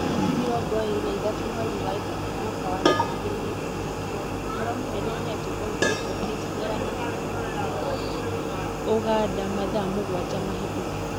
Tarĩki mĩrongo ĩrĩ na ithatũ mweri wa ĩtatũ mwaka wa ngiri igĩri na ikũmi na kenda: ũhoro mũnene nĩ atĩ" Boniface Wekesa nĩaramakĩra mũtũrĩre wake" Uganda mathaa mũgwanja mahĩtũku